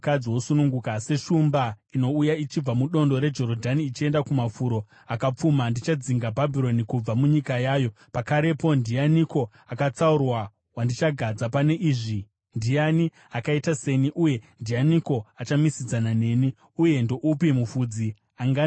Seshumba inouya ichibva mudondo reJorodhani ichienda kumafuro akapfuma, ndichadzinga Bhabhironi kubva munyika yayo pakarepo. Ndianiko akatsaurwa wandichagadza pane izvi? Ndiani akaita seni uye ndiani achamisidzana neni? Uye ndoupi mufudzi angandidzivisa?”